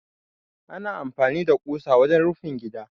Ana amfani da ƙusa wajen rufin gida.